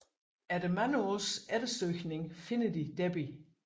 Efter mange års eftersøgning finder de Debbie